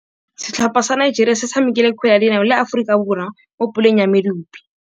Setlhopha sa Nigeria se tshamekile kgwele ya dinaô le Aforika Borwa mo puleng ya medupe.